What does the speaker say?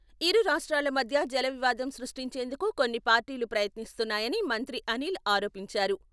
ఇరు రాష్ట్రాల మధ్య జల వివాదం సృష్టించేందుకు కొన్ని పార్టీలు ప్రయత్నిస్తున్నాయని మంత్రి అనిల్ ఆరోపించారు.